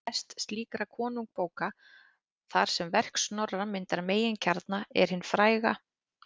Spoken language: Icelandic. Mest slíkra konungabóka, þar sem verk Snorra myndar meginkjarna, er hin fræga